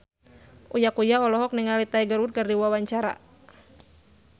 Uya Kuya olohok ningali Tiger Wood keur diwawancara